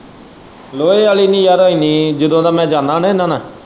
ਲੋਹੇ ਆਲ਼ੀ ਨੀ ਯਾਰ ਇੰਨੀ ਜਦੋਂ ਦਾ ਮੈਂ ਜਾਣਾ ਨਾ ਇਹਨਾਂ ਨਾਲ਼।